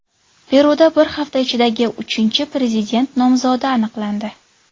Peruda bir hafta ichidagi uchinchi prezident nomzodi aniqlandi.